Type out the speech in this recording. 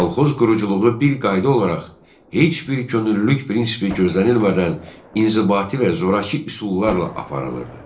Kolxoz quruculuğu bir qayda olaraq heç bir könüllülük prinsipi gözlənilmədən inzibati və zorakı üsullarla aparılırdı.